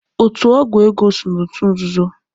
Otu ọgwụ ego so n'otu nzuzo.